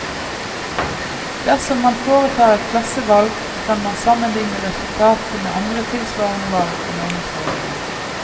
Dersom man foretar et klassevalg, kan man sammenlikne resultatet med andre tilsvarende valg og meningsmålinger.